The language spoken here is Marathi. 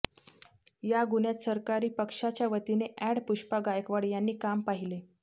या गुन्ह्यात सरकारी पक्षाच्यावतीने अॅड़ पुष्पा गायकवाड यांनी काम पाहिले